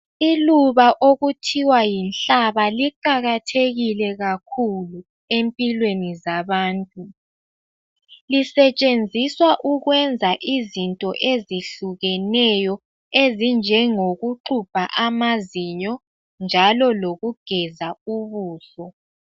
lluba okuthiwa yinhlaba liqakathekile kakhulu empilweni zabantu. Lisetshenziswa ukwenza izinto ezehlukeneyo ezinjengokuxubha amazinyo njalo lokugeza ubuso.